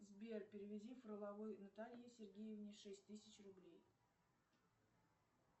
сбер переведи фроловой наталье сергеевне шесть тысяч рублей